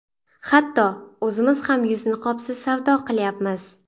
Hatto, o‘zimiz ham yuz niqobsiz savdo qilyapmiz.